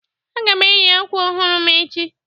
Aga m eyi akwa ọhụrụ m echi